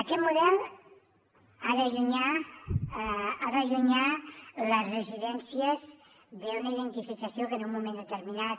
aquest model ha d’allunyar les residències d’una identificació que en un moment determinat